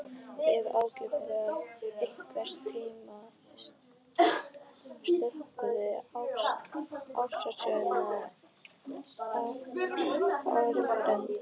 Ég hef ábyggilega einhvern tíma skrökvað ástarsögu að öðrum.